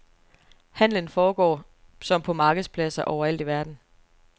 Handlen foregår som på markedspladser overalt i verden.